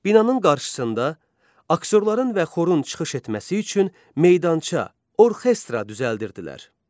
Binanın qarşısında aktyorların və xorun çıxış etməsi üçün meydança, orkestra düzəldirdilər.